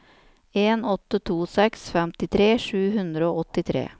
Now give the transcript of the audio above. en åtte to seks femtitre sju hundre og åttitre